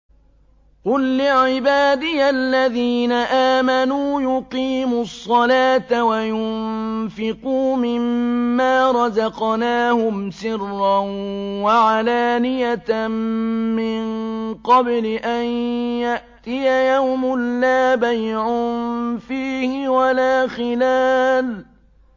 قُل لِّعِبَادِيَ الَّذِينَ آمَنُوا يُقِيمُوا الصَّلَاةَ وَيُنفِقُوا مِمَّا رَزَقْنَاهُمْ سِرًّا وَعَلَانِيَةً مِّن قَبْلِ أَن يَأْتِيَ يَوْمٌ لَّا بَيْعٌ فِيهِ وَلَا خِلَالٌ